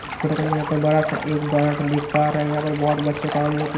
इस फोटो के अंदर यहां पर बड़ा सा एक बट देख पा रहे है यहां पर बहोत बच्चे का हम लोग--